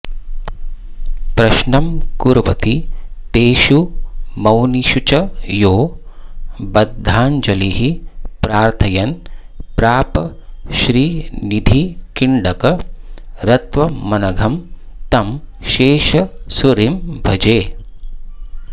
प्रश्नं कुर्वति तेषु मौनिषुच यो बद्धाञ्जलिः प्रार्थयन् प्राप श्रीनिधिकिङ्करत्वमनघं तं शेष सूरिं भजे